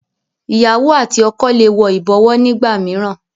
ìyàwó àti ọkọ lẹ wò ibọwọ nigbamiran